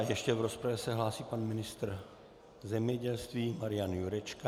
A ještě v rozpravě se hlásí pan ministr zemědělství Marian Jurečka.